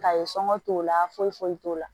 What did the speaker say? Ka ye sɔɔnt'o la foyi foyi t'o la